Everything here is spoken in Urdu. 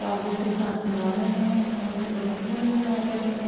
کے ساتھ چلا رہے ہے۔ سامنے درخت بنے ہوئے ہے ہرے رنگ کے--